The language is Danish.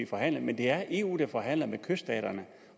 forhandles men det er eu der forhandler med kyststaterne